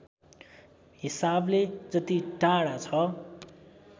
हिसाबले जति टाढा छ